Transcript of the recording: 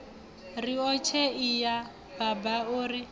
riotshe iya baba o ri